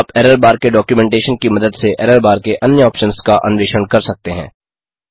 आप error bar के documentation की मदद से एरर बार के अन्य ऑप्शन्स का अन्वेषण कर सकते हैं